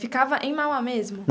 Ficava em Mauá mesmo?